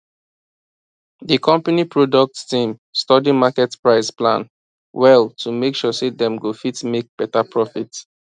di company product team study market price plan well to make sure say dem go fit make better profit